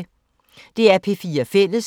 DR P4 Fælles